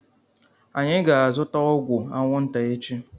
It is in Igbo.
Anyị ga-azụta ọgwụ anwụnta echi.